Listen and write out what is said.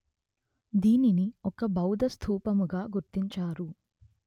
దీనిని ఒక బౌద్ధ స్థూపముగా గుర్తించారు